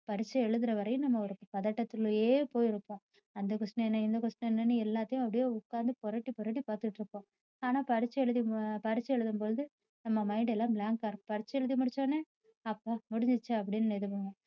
பரீட்சை எழுதுற வரையும் நம்ம ஒரு பதட்டதுலேயே போயிருப்போம் அந்த question என்ன இந்த question என்ன எல்லாத்தையும் அப்படியே உட்கார்ந்து புரட்டி புரட்டி பார்த்துட்டு இருப்போம் ஆனா பரீட்சை எழுதி~ பரீட்சை எழுதும் பொழுது நம்ம mind எல்லாம் blank ஆ இருக்கும் பரீட்சை எழுதி முடிச்ச உடனே அப்பா முடிஞ்சிச்சா அப்படின்னு இது பண்ணுவோம்.